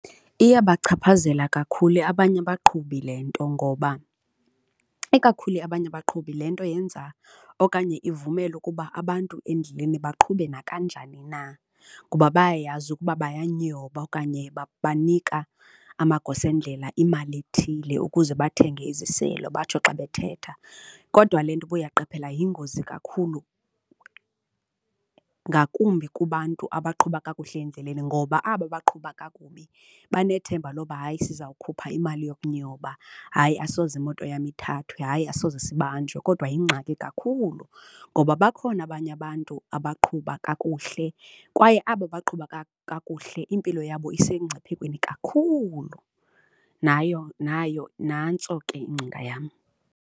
Iyabachaphazela kakhulu abanye abaqhubi le nto ngoba ikakhulu abanye abaqhubi le nto yenza okanye ivumela ukuba abantu endleleni baqhube nakanjani na kuba bayayazi ukuba bayanyoba okanye banika amagosa endlela imali ethile ukuze bathenge iziselo batsho xa bethetha. Kodwa le nto, uba uyaqaphela yingozi kakhulu ngakumbi kubantu abaqhuba kakuhle endleleni ngoba aba baqhuba kakubi benethemba loba hayi siza kukhupha imali yokunyoba, hayi asoze imoto yam ithathwe, hayi asoze sibanjwe kodwa yingxaki kakhulu ngoba bakhona abanye abantu abaqhuba kakuhle kwaye abo baqhuba kakuhle impilo yabo esemngciphekweni kakhulu nayo, nayo nantso ke ingcinga yam.